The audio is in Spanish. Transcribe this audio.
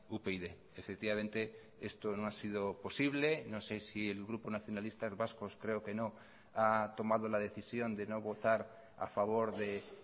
upyd efectivamente esto no ha sido posible no sé si el grupo nacionalistas vascos creo que no ha tomado la decisión de no votar a favor de